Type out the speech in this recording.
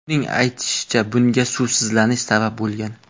Uning aytishicha, bunga suvsizlanish sabab bo‘lgan.